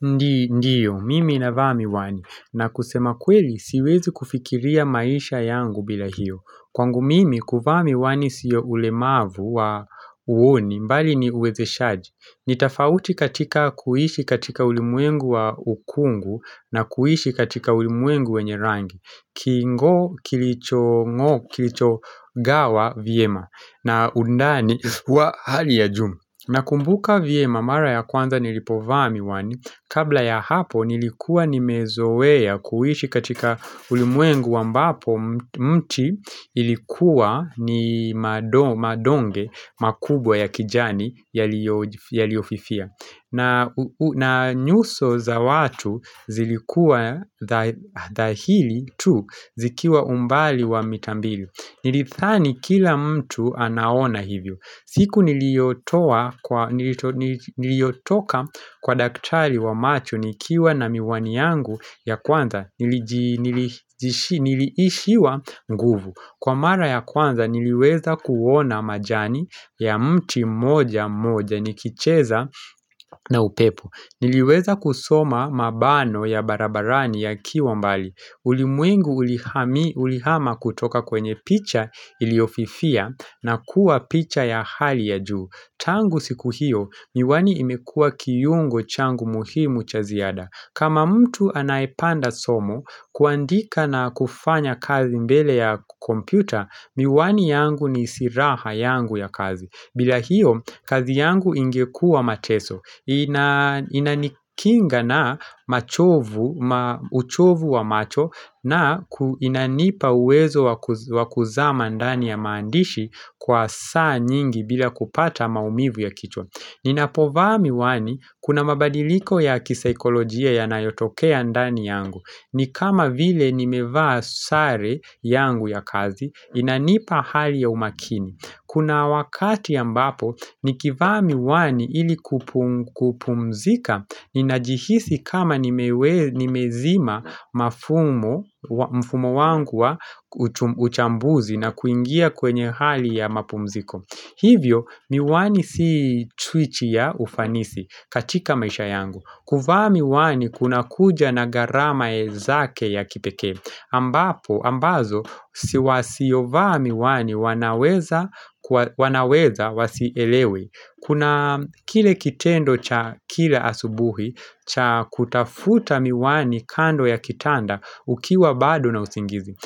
Ndiyo, mimi ninavaa miwani. Na kusema kweli, siwezi kufikiria maisha yangu bila hiyo. Kwangu mimi, kuvaa miwani siyo ulemavu wa uoni bali ni uwezeshaji. Nitafauti katika kuishi katika ulimwengu wa ukungu na kuishi katika ulimwengu wenye rangi. Kingo kilicho kilicho gawa vyema na undani wa hali ya juu na kumbuka vyema mara ya kwanza nilipovaa miwani Kabla ya hapo nilikuwa ni mezoea kuishi katika ulimwengu ambapo mti Ilikuwa ni madonge makubwa ya kijani yaliofifia na nyuso za watu zilikua dhahili tu zikiwa umbali wa mitambili Nilidhani kila mtu anaona hivyo siku niliotoka kwa daktari wa macho nikiwa na miwani yangu ya kwanza niliishiwa nguvu Kwa mara ya kwanza niliweza kuona majani ya mti mmoja mmoja ni kicheza na upepo. Niliweza kusoma mabano ya barabarani ya kiwa mbali. Ulimwengu ulihama kutoka kwenye picha iliyofifia na kuwa picha ya hali ya juu. Tangu siku hiyo miwani imekua kiungo changu muhimu cha ziada. Kama mtu anaepanda somo kuandika na kufanya kazi mbele ya kompyuta, miwani yangu ni siraha yangu ya kazi. Bila hiyo, kazi yangu ingekua mateso. Inanikinga na machovu, uchovu wa macho na inanipa uwezo wa kuzama ndani ya maandishi kwa saa nyingi bila kupata maumivu ya kichwa. Ninapovaa miwani kuna mabadiriko ya kisaikolojia ya nayotokea ndani yangu ni kama vile nimevaa sare yangu ya kazi inanipa hali ya umakini Kuna wakati ya ambapo nikivaa miwani ili kupumzika Ninajihisi kama nimezima mfumo wangu wa uchambuzi na kuingia kwenye hali ya mapumziko Hivyo miwani si switch ya ufanisi katika maisha yangu. Kuvaa miwani kuna kuja na gharama zake ya kipekee. Ambazo wasio vaa miwani wanaweza wasielewe. Kuna kile kitendo cha kila asubuhi cha kutafuta miwani kando ya kitanda ukiwa bado na usingizi.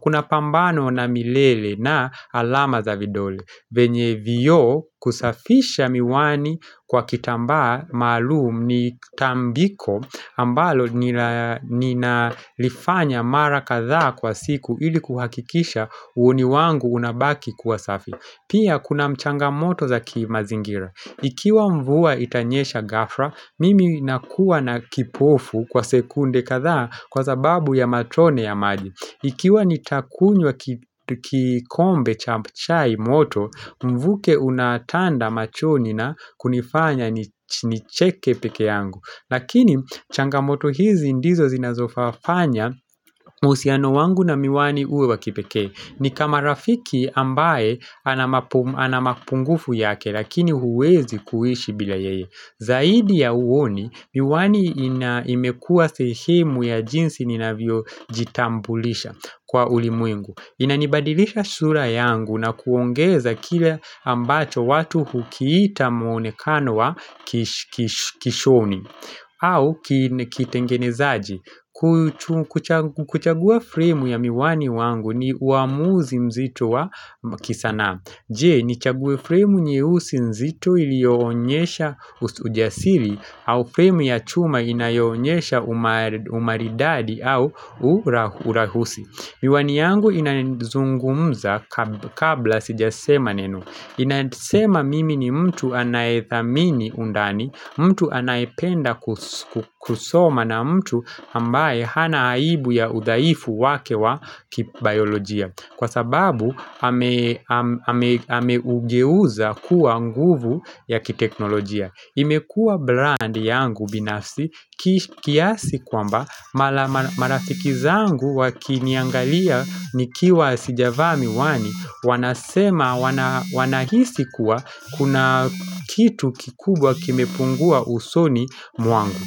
Kuna pambano na milele na alama za vidole venye vioo kusafisha miwani kwa kitambaa maalum ni tambiko ambalo nina lifanya mara kadhaa kwa siku ili kuhakikisha uoni wangu unabaki kuwasafi Pia kuna changamoto za kimazingira Ikiwa mvua itanyesha ghafla, mimi nakuwa na kipofu kwa sekunde kadha kwa sababu ya matone ya maji Ikiwa nitakunywa kikombe cha chai moto, mvuke unatanda machoni na kunifanya nicheke peke yangu. Lakini changamoto hizi ndizo zinazofafanya uhusiano wangu na miwani uwe wakipekee. Ni kama rafiki ambaye anamapungufu yake lakini huwezi kuishi bila yeye. Zaidi ya uoni, miwani inaimekua sehemu ya jinsi ninavyo jitambulisha kwa ulimwengu Inanibadilisha sura yangu na kuongeza kile ambacho watu hukiita muonekano wa kishoni au kitengenezaji kuchagua frame ya miwani wangu ni uamuzi mzito wa kisanaa Je ni chague frame nyeusi nzito ilioonyesha ujasiri au frame ya chuma inayoonyesha umaridadi au urahusi Miwani yangu inazungumza kabla sijasema neno inasema mimi ni mtu anaethamini undani, mtu anaependa kusoma na mtu ambaye hanaaibu ya uzaifu wake wa kibaiolojia Kwa sababu ameugeuza kuwa nguvu ya kiteknolojia. Imekua brand yangu binafsi kiasi kwamba marafikizangu wakiniangalia ni kiwa sijavaa miwani wanasema wanahisi kuwa kuna kitu kikubwa kimepungua usoni mwangu.